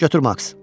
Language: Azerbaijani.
Götür maks.